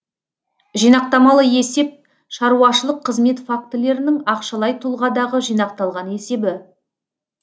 жинақтамалы есеп шаруашылық қызмет фактілерінің ақшалай тұлғадағы жинақталған есебі